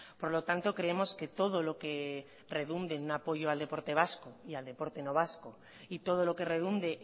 por lo tanto creemos que todo lo que redunde en un apoyo al deporte vasco y al deporte no vasco y todo lo que redunde